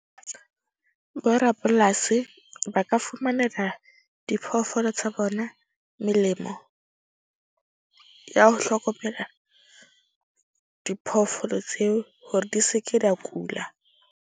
Borapolasi ba ka fumanela diphoofolo tsa bona melemo ya ho hlokomela, diphoofolo tseo hore di seke dia kula.